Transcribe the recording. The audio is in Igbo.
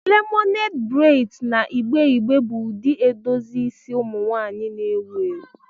Lemonad braids na igbe igbe bụ ụdị edozi isi ụmụ nwanyị na-ewu ewu.